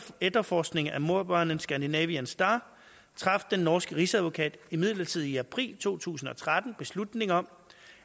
etterforskning av mordbrannen scandinavian star traf den norske rigsadvokat imidlertid i april to tusind og tretten beslutning om